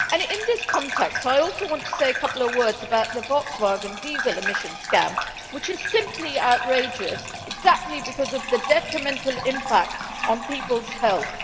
In this context, I also want to say a couple of words about the Volkswagen diesel emission scam, which is simply outrageous, precisely because of the detrimental impact on people's health.